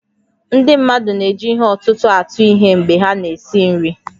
Ndị mmadụ na-eji ihe ọ̀tụ̀tụ̀ atụ ihe mgbe ha na-esi nri